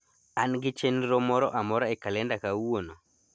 an gi chenro moro amora e kalenda kawuono